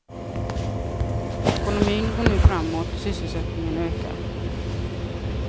Ekonomin går nu framåt, sysselsättningen ökar.